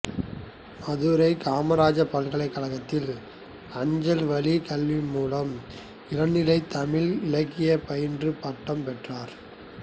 மதுரை காமராசர் பல்கலைக்கழகத்தில் அஞ்சல் வழிக் கல்வி மூலம் இளநிலை தமிழ் இலக்கியம் பயின்று பட்டம் பெற்றார்